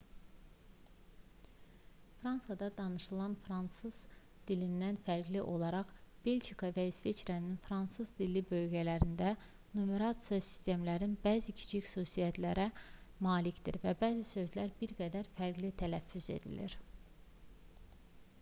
fransada danışılan fransız dilindən fərqli olaraq belçika və i̇sveçrənin fransız-dilli bölgələrində numerasiya sistemi bəzi kiçik xüsusiyyətlərə malikdir və bəzi sözlər bir qədər fərqli tələffüz edilir